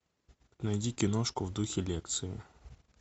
найди киношку в духе лекции